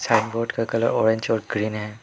Sign board का colour orange और green है।